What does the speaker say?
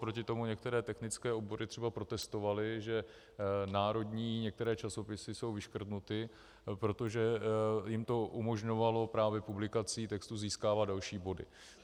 Proti tomu některé technické obory třeba protestovaly, že národní některé časopisy jsou vyškrtnuty, protože jim to umožňovalo právě publikací textů získávat další body.